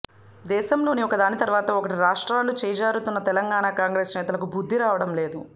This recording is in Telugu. దేశంలో ఒకదాని తర్వాత ఒకటిగా రాష్ట్రాలు చేజారుతున్నా తెలంగాణ కాంగ్రెస్ నేతలకు బుద్ధి రావడం లేదు